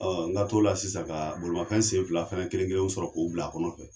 Ɔ n ka to la sisan ka bolimafɛn sen fila fɛnɛ kelen kelenw sɔrɔ k'o bila a kɔnɔ fɛ